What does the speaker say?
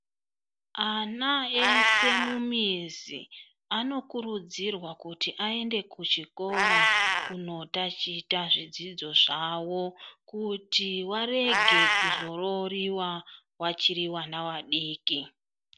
Ana eshe anokurudzirwa kuti aende kuchikora kunotachita zvidzidzo zvavo kuti varege kuzororiwa vachiri vana vadiki.